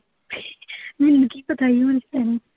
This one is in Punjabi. ਮੈਨੂੰ ਕੀ ਪਤਾ ਸੀ ਹੁਣ